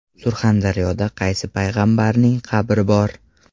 Surxondaryoda qaysi Payg‘ambarning qabri bor?.